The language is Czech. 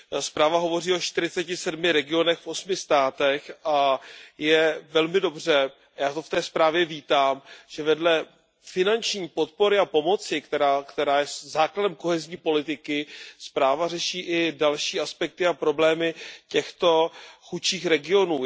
Zpráva hovoří o čtyřiceti sedmi regionech v osmi státech a je velmi dobře, já to v té zprávě vítám, že vedle finanční podpory a pomoci, která je základem kohezní politiky, zpráva řeší i další aspekty a problémy těchto chudších regionů.